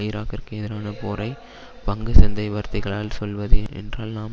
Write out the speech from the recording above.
ஈராக்கிற்கு எதிரான போரை பங்கு சந்தை வார்த்தைகளால் சொல்வது என்றால் நாம்